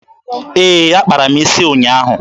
Ee, akpara m isi ụnyaahụ.